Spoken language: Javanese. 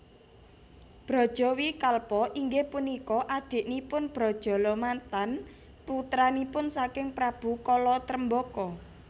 Brajawikalpa inggih punika adiknipun Brajalamatan putranipun saking Prabu Kala Tremboko